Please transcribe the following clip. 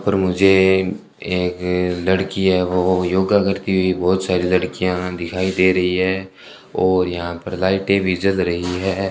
और मुझे एक लड़की है वो योगा करती हुई बहोत सारी लड़कियां दिखाई दे रही है और यहां पर लाइटें भी जल रही है।